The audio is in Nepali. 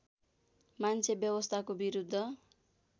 मान्छे व्यवस्थाको विरुद्ध